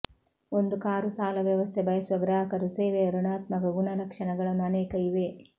ಒಂದು ಕಾರು ಸಾಲ ವ್ಯವಸ್ಥೆ ಬಯಸುವ ಗ್ರಾಹಕರು ಸೇವೆಯ ಋಣಾತ್ಮಕ ಗುಣಲಕ್ಷಣಗಳನ್ನು ಅನೇಕ ಇವೆ